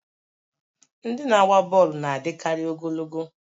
Ndị na-agba bọọlụ na-adịkarị ogologo